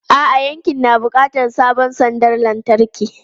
A'a, yankin na buƙatar sabon sandar lantarki.